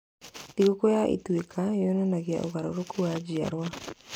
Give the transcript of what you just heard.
Thigũkũ ya Ituĩka yonanagia ũgarũrũku wa njiarũa.